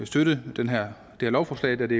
støtte det her lovforslag da det